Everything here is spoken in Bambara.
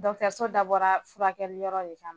Dɔgɔtɔrɔso dabɔra furakɛli yɔrɔ de kama